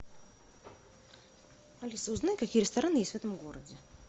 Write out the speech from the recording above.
алиса узнай какие рестораны есть в этом городе